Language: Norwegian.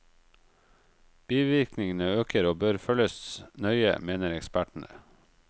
Bivirkningene øker, og bør følges nøye, mener ekspertene.